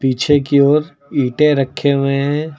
पीछे की ओर ईंटे रखे हुए हैं।